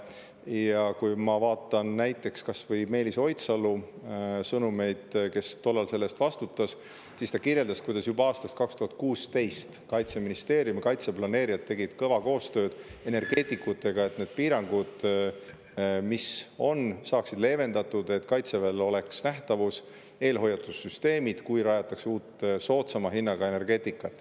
Ja kui ma vaatan näiteks kas või Meelis Oidsalu sõnumeid, kes tollal selle eest vastutas, siis ta kirjeldas, kuidas juba aastal 2016 Kaitseministeerium ja kaitseplaneerijad tegid kõva koostööd energeetikutega, et need piirangud, mis on, saaksid leevendatud, et Kaitseväel oleks nähtavus, eelhoiatussüsteemid, kui uut, soodsama hinnaga energeetikat.